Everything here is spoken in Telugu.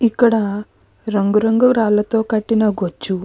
ఇక్కడ రంగు రంగులతో కట్టిన గొజ్జు --